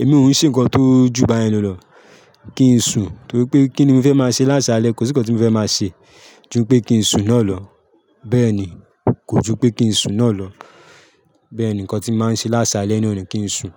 Èmi ò ní ṣe nǹkan tó ju báyẹn lọ. Kí n sun, torí pé kí ni mo fẹ́ máa ṣe lásálẹ́? Kò sí nǹkan tí mo fẹ́ máa ṣe ju pé kí n sun náà lọ. Bẹ́ẹ̀ ni, kò jú pé kí n sun náà lọ. Bẹ́ẹ̀ ni nǹkan tí màá ń ṣe lásálẹ́ nọni kí n sun.